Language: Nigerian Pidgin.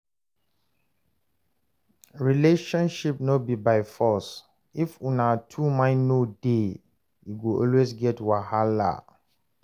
Relationship no be by force, if una two mind no dey, e go always get wahala.